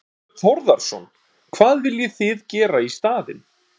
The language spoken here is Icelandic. Þorbjörn Þórðarson: Hvað viljið þið gera í staðinn?